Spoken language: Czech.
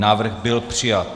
Návrh byl přijat.